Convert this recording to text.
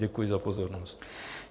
Děkuji za pozornost.